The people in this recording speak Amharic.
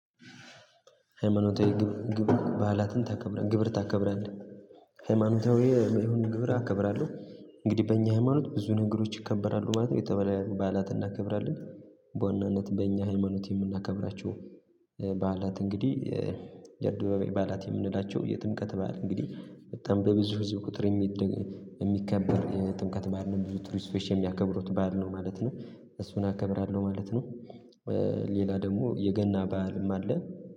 ሃይማኖታዊ ግብር ባህላትን ታከብራለህ ግብር ታከብራለህ ሃይማኖታዊ የሆኑ ግብር አከብራለሁ። እንግዲህ በእኛ ሃይማኖት ብዙ ነገሮች ይከበራሉ ማለት ነው የተለያዩ በዓላት እናከብራለን። በዋናነት በእኛ ሃይማኖት የምናከብራቸው። በዓላት እንግዲህ የአደባባይ በዓላት የምንላቸው የጥምቀት በዓል እንግዲህ በጣም በብዙ ህዝብ ቁጥር የሚከበር የጥምቀት በዓል ነው። ብዙ ቱሪስቶች የሚያከብሩት በዓል ነው ማለት ነው። እሱን አከብራለሁ ማለት ነው። ሌላ ደግሞ የገና በዓልም አለ